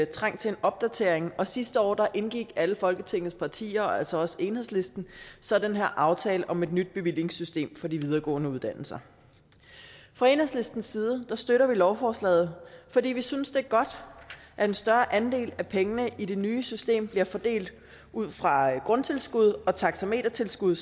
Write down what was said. trængt til en opdatering og sidste år indgik alle folketingets partier og altså også enhedslisten så den her aftale om et nyt bevillingssystem for de videregående uddannelser fra enhedslistens side støtter vi lovforslaget fordi vi synes det er godt at en større andel af pengene i det nye system bliver fordelt ud fra grundtilskud og taxametertilskud